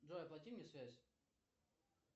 джой оплати мне связь